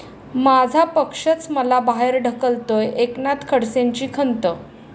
माझा पक्षच मला बाहेर ढकलतोय, एकनाथ खडसेंची खंत